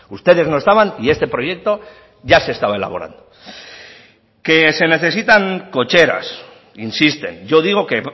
ustedes no estaban y este proyecto ya se estaba elaborando que se necesitan cocheras insisten yo digo que